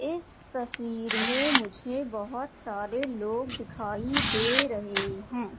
इस तस्वीर में मुझे बहुत सारे लोग दिखाई दे रहे हैं।